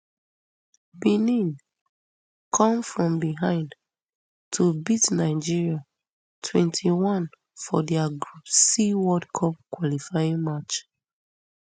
benin come from behind to beat nigeria twenty-one for dia group c world cup qualifying match